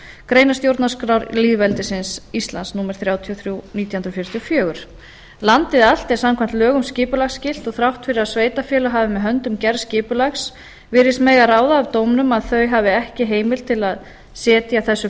grein stjórnarskrár lýðveldisins íslands númer þrjátíu og þrjú nítján hundruð fjörutíu og fjögur landið allt er samkvæmt lögum skipulagsskylt og þrátt fyrir að sveitarfélög hafi með höndum gerð skipulags virðist mega ráða af dómnum að þau hafi ekki heimild til að setja þessu